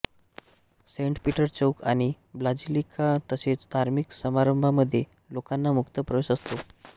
Saint Peter चौक आणि basilica तसेच धार्मिक समारंभांमध्ये लोकांना मुक्त प्रवेश असतो